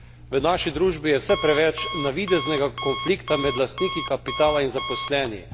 V naši družbi je vse preveč navideznega konflikta med lastniki kapitala in zaposlenimi.